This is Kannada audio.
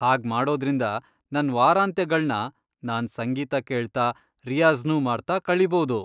ಹಾಗ್ಮಾಡೋದ್ರಿಂದ ನನ್ ವಾರಾಂತ್ಯಗಳ್ನ ನಾನ್ ಸಂಗೀತ ಕೇಳ್ತಾ ರಿಯಾಜ಼್ನೂ ಮಾಡ್ತಾ ಕಳೀಬೌದು.